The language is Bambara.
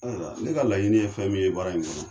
wala ne ka laɲini ye fɛn min ye baara in kɔnɔ